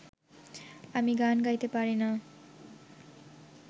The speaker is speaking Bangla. আমি গান গাইতে পারি না